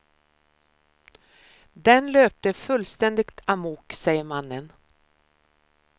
Den löpte fullständigt amok, säger mannen.